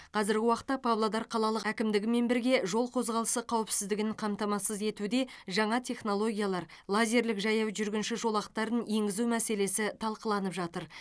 қазіргі уақытта павлодар қалалық әкімдігімен бірге жол қозғалысы қауіпсіздігін қамтамасыз етуде жаңа технологиялар лазерлік жаяу жүргінші жолақтарын енгізу мәселесі талқыланып жатыр